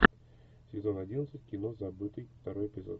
сезон одиннадцать кино забытый второй эпизод